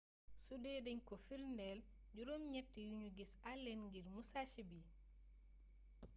sudee dañ ko firndeel juróom ñatti yuñu gisee allen ngir musashi bi